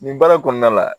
Nin baara kɔnɔna la